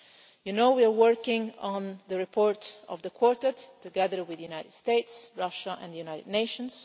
You know that we are working on the report of the Quartet together with the United States, Russia and the United Nations.